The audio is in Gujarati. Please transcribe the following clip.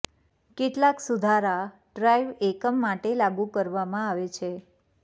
કેટલાક સુધારા ડ્રાઈવ એકમ માટે લાગુ કરવામાં આવે છે